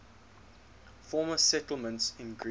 former settlements in greece